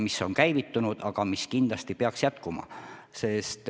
See on käivitunud ja peaks kindlasti jätkuma.